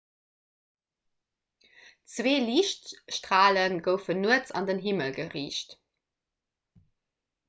zwee liichtstrale goufen nuets an den himmel geriicht